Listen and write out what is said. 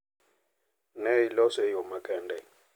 Ne iloso e yo makende,